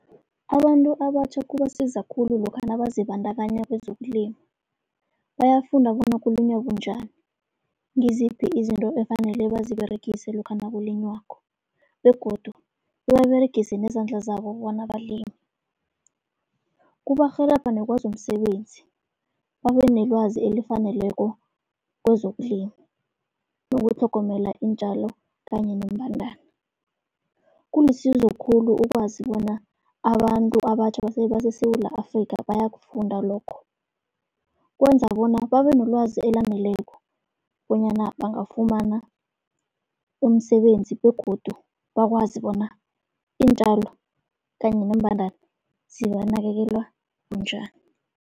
Abantu abatjha kubasiza khulu lokha nazibandakanya kwezokulima. Bayafunda bona kulinywa bunjani, ngiziphi izinto efanele baziberegise lokha nakulinywako begodu bebaberegise nezandla zabo bona balime. Kubarhelebha nekwezomsebenzi, babe nelwazi elifaneleko kwezokulima, nokutlhogomela iintjalo kanye nembandana. Kulisizo khulu ukwazi bona abantu abatjha baseSewula Afrikha bayakufunda lokho. Kwenza bona babe nolwazi elaneleko bonyana bangafumana umsebenzi, begodu bakwazi bona iintjalo kanye neembandana zinakekelwa bunjani.